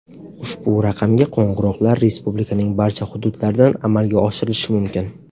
Ushbu raqamga qo‘ng‘iroqlar respublikaning barcha hududlaridan amalga oshirilishi mumkin.